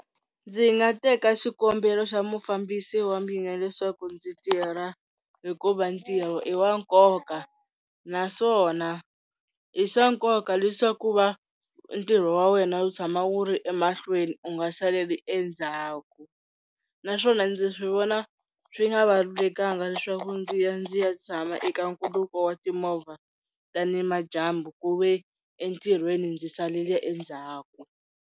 Ndzi nga teka xikombelo xa mufambisi wa mina leswaku ndzi tirha hikuva ntirho i wa nkoka naswona i swa nkoka leswaku va ntirho wa wena wu tshama wu ri emahlweni u nga saleli endzhaku naswona ndzi swi vona swi nga valulekanga leswaku ndzi ya ndzi ya tshama eka nkhuluko wa timovha tani madyambu ku ve entirhweni ndzi salele endzhaku.